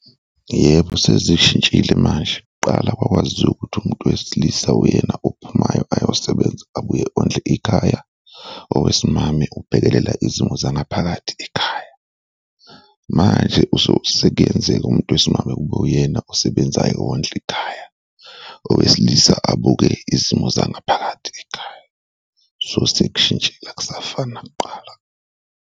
Yebo, sezishintshile manje. Kuqala kwakwaziwa ukuthi umuntu wesilisa uyena ophumayo ayosebenza abuye ondle ikhaya, owesimame ubhekelela izimo zangaphakathi ekhaya, manje sekuyenzeka umuntu wesimame kube uyena osebenzayo wondla ikhaya, owesilisa abuke izimo zangaphakathi ekhaya, so sekushintshile akusafani nakuqala.